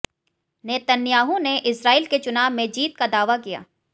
Netanyahu ने Israel के चुनाव में जीत का दावा किया